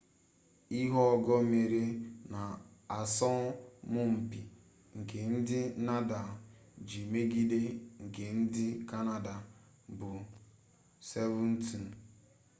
ihe ogo mmeri n'asọmụmpi nke ndị nadal ji megide nke ndị kanada bụ 7-2